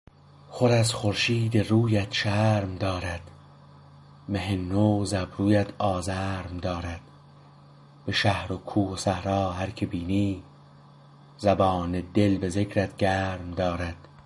خور از خورشید رویت شرم دارد مه نو ز ابرویت آزرم دارد به شهر و کوه و صحرا هرکه بینی زبان دل به ذکرت گرم دارد